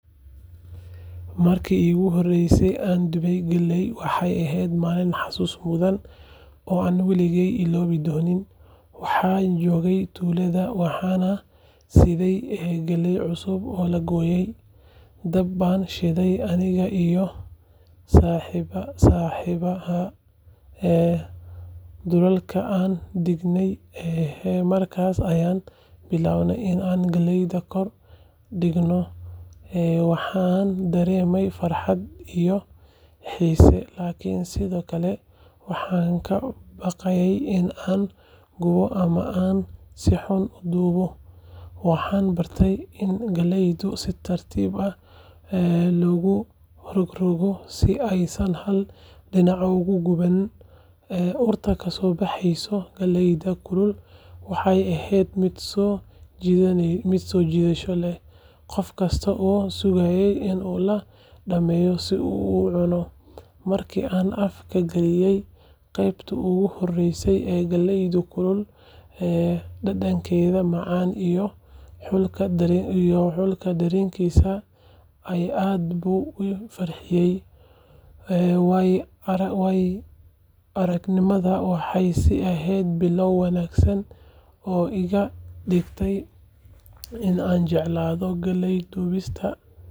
Markii iigu horreysay ee aan dubay galley waxay ahayd maalin xasuus mudan oo aan weligay illoobi doonin. Waxaan joogay tuulada, waxaana nala siiyay galley cusub oo la gooyay. Dab baanu shidnay aniga iyo saaxiibbaday, dhuxulna waanu dhignay, markaas ayaan bilaabay in aan galleyda kor dhigo. Waxa aan dareemayay farxad iyo xiise, laakiin sidoo kale waxaan ka baqayay in aan gubo ama aan si xun u dubo. Waxaan bartay in galleyda si tartiib ah loogu rogrogto si aysan hal dhinac uga guban. Urta kasoo baxaysay galleyda kulul waxay ahayd mid soo jiidasho leh, qof kastana wuu sugayay in la dhammeeyo si uu u cuno. Markii aan afka galiyay qaybtii ugu horreysay ee galleyda kulul, dhadhankeeda macaan iyo kulka dareenkiisa aad buu ii farxiyay. Waaya-aragnimadaasi waxay ii ahayd bilow wanaagsan oo iga dhigtay in aan jeclaado galley dubista.